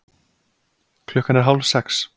Klukkan er hálfsex.